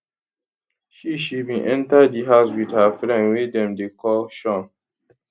she she bin enta di house wit her friend wey dem dey call shaun